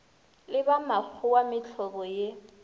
le ba makgowa mehlobo ye